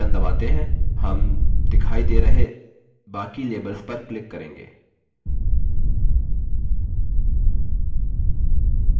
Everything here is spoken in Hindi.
और फिर जब shift बटन दबाते हैं; हम दिखाई दे रहे बाकी labels पर click करेंगे